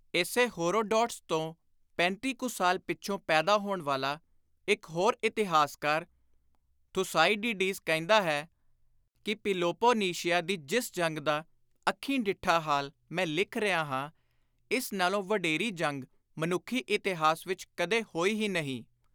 ਇਸੇ ਹੋਰੋਡੋਟੱਸ ਤੋਂ ਪੈਂਤੀ ਕੁ ਸਾਲ ਪਿੱਛੋਂ ਪੈਦਾ ਹੋਣ ਵਾਲਾ ਇਕ ਹੋਰ ਇਤਿਹਾਸਕਾਰ, ਥੁਸਾਈਡੀਡੀਜ਼ ਕਹਿੰਦਾ ਹੈ ਕਿ “ਪਿਲੋਪੋਨੀਸ਼ੀਆ ਦੀ ਜਿਸ ਜੰਗ ਦਾ ਅੱਖੀਂ ਡਿੱਠਾ ਹਾਲ ਮੈਂ ਲਿਖ ਰਿਹਾ ਹਾਂ, ਇਸ ਨਾਲੋਂ ਵਡੇਰੀ ਜੰਗ ਮਨੁੱਖੀ ਇਤਿਹਾਸ ਵਿਚ ਕਦੇ ਹੋਈ ਹੀ ਨਹੀਂ।”